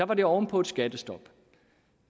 var det oven på et skattestop